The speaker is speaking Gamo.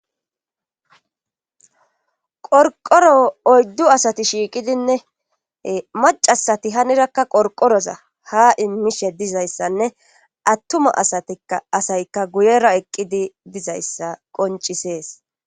Qorqoro oydu asati shiqidinne maccasi hinirakka qorqoro ha imishe dizaysanne atuma asaykka guyera eqidi dizayssa qoncisses.